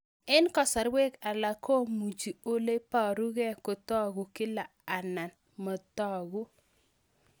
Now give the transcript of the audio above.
Eng' kasarwek alak komuchi ole parukei kotag'u kila anan matag'u